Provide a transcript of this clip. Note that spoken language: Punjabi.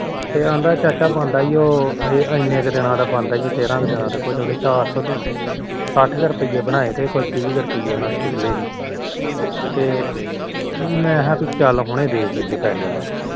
ਕਹਿੰਦਾ ਚਾਚਾ ਇਨਾ ਕ ਬਣਦਾ ਤੇਰਾ ਕ ਦਿਨਾ ਦਾ ਚਾਰ ਸੋ ਸਾਠ ਕ ਰੁਪੇਈਏ ਬਣਾਏ ਕੁਛ ਤੀਹ ਕੁ ਰੁਪਈਏ ਪਿਛਲੇ ਸੀ ਤੇ ਮੈ ਕਿਹਾ ਚੱਲ ਹੁਣੇ ਦੇ ਕੇ ਆਈਏ ਪੈਹੇ ਉਹਨਾ ਦੇ